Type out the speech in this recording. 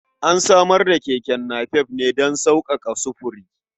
An samar da keke napep ne don sauƙaƙa sufuri.